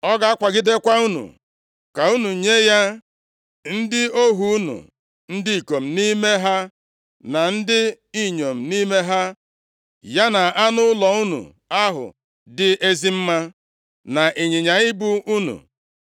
Ọ ga-akwagidekwa unu ka unu nye ya ndị ohu unu, ndị ikom nʼime ha, na ndị inyom nʼime ha, ya na anụ ụlọ unu ahụ dị ezi mma, na ịnyịnya ibu unu.